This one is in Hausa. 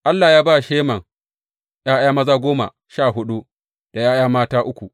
Allah ya ba Heman ’ya’ya maza goma sha huɗu da ’ya’ya mata uku.